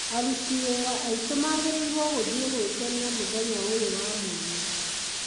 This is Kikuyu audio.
Aruti wĩra aitũ magĩrĩirũo gũthiĩ gwĩkenia mũthenya ũyũ wa mwanya.